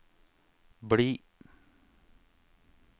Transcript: bli